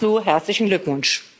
Dazu herzlichen Glückwunsch!